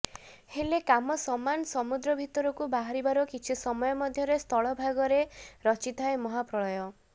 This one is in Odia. ହେଲେ କାମ ସମାନ ସମୁଦ୍ର ଭିତରୁ ବାହାରିବାର କିଛି ସମୟ ମଧ୍ୟରେ ସ୍ଥଳ ଭାଗରେ ରଚ୍ଚିଥାଏ ମହାପ୍ରଳୟ